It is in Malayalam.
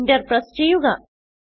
Enter പ്രസ് ചെയ്യുക